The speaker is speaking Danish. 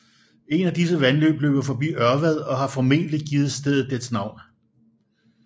Et af disse vandløb løber forbi Ørvad og har formentlig givet stedet dets navn